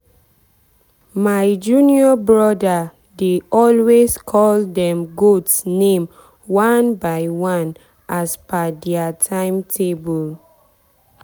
my junior brother dey always call dem goat name one by one as per dia timetable.